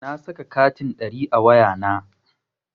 Na saka katin ɗari a wayana.